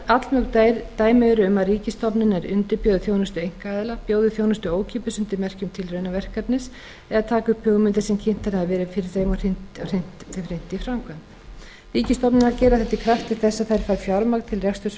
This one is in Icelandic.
allmörg dæmi eru um að ríkisstofnanir undirbjóði þjónustu einkaaðila bjóði þjónustuna ókeypis undir merkjum tilraunaverkefnis eða taki upp hugmyndir sem kynntar hafa verið fyrir þeim og hrindi þeim í framkvæmd ríkisstofnanirnar gera þetta í krafti þess að þær fá fjármagn til reksturs frá ríkinu og